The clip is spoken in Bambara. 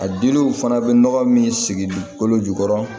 A diliw fana bɛ nɔgɔ min sigi kolo jukɔrɔ